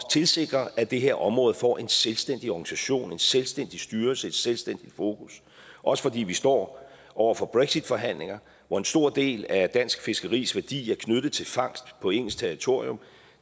tilsikre at det her område får en selvstændig organisation en selvstændig styrelse et selvstændigt fokus også fordi vi står over for brexitforhandlinger og en stor del af dansk fiskeris værdi er knyttet til fangst på engelsk territorium